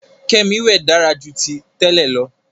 Kemi wẹ dára jù tí tèlé ló.